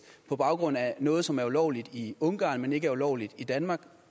på baggrund af noget som er ulovligt i ungarn men ikke er ulovligt i danmark